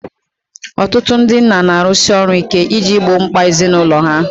Ọtụtụ ndị nna na-arụsi ọrụ ike iji gboo mkpa ezinụlọ ha